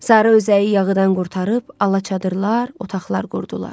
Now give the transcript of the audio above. Sarı özəyi yağıdan qurtarıb alacadırlar, otaqlar qurdular.